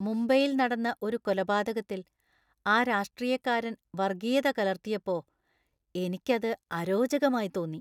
മുംബൈയിൽ നടന്ന ഒരു കൊലപാതകത്തിൽ ആ രാഷ്ട്രീയക്കാരൻ വർഗീയത കലർത്തിയപ്പോ എനിക്ക് അത് അരോചകമായി തോന്നി.